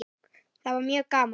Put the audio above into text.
Það var mjög gaman.